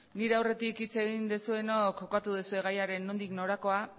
nire aurretik hitz egin duzuenok kokatu duzue gaiaren nondik norakoa